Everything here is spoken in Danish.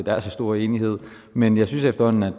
er så stor enighed men jeg synes efterhånden at